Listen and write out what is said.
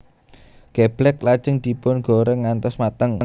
Geblèk lajeng dipun goreng ngantos mateng